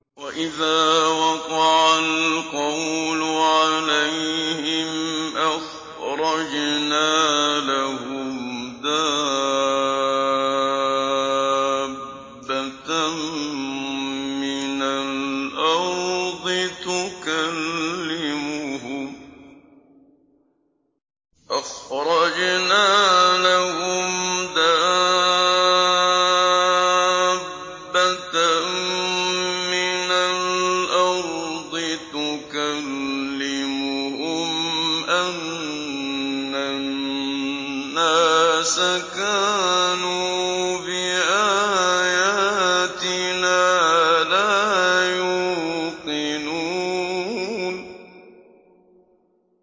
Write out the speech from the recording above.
۞ وَإِذَا وَقَعَ الْقَوْلُ عَلَيْهِمْ أَخْرَجْنَا لَهُمْ دَابَّةً مِّنَ الْأَرْضِ تُكَلِّمُهُمْ أَنَّ النَّاسَ كَانُوا بِآيَاتِنَا لَا يُوقِنُونَ